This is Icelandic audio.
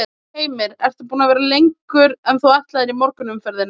Heimir: Ert þú búin að vera lengur en þú ætlaðir í morgun í umferðinni?